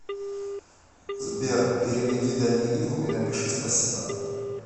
сбер переведи даниилу и напиши спасибо